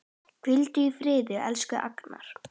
Hvíldu í friði, elsku Agnar.